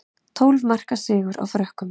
Tólf marka sigur á Frökkum